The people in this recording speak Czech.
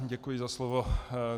Děkuji za slovo.